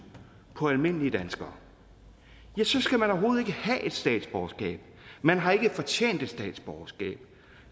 på almindelige danskere ja så skal man overhovedet ikke have et statsborgerskab man har ikke fortjent et statsborgerskab